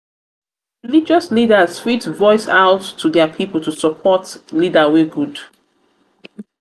leaders fit voice out to dia pipol to support support leader wey good